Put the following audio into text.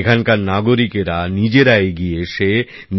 এখানকার নাগরিকরা নিজেরা এগিয়ে এসে